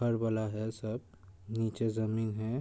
है सब। नीचे ज़मीन है।